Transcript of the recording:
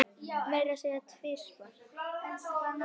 Meira að segja tvisvar